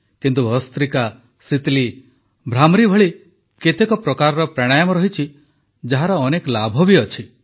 କିନ୍ତୁ ଭସ୍ତ୍ରୀକା ଶୀତଲୀ ଭ୍ରାମରୀ ଭଳି କେତେ ପ୍ରକାରର ପ୍ରାଣାୟାମ ଅଛି ଯାହାର ଅନେକ ଲାଭ ବି ରହିଛି